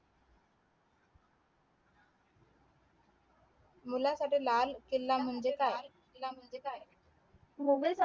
मुलखातील लाल केला म्हणजे काय लाल किला म्हणजे काय मुघल